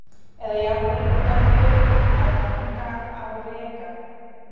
eða jafnvel út á fjörur að ganga á reka.